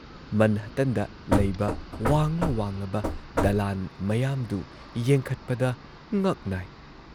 ꯃꯟꯍꯇꯟꯗ ꯂꯩꯕ ꯋꯥꯡꯂ ꯋꯥꯡꯂꯕ ꯗꯂꯥꯟ ꯃꯌꯥꯝꯗꯨ ꯌꯦꯡꯈꯠꯄꯗ ꯉꯛ ꯅꯥꯏ ꯫